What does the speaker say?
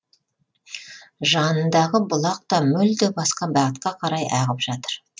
жанындағы бұлақ та мүлде басқа бағытқа қарай ағып жатыр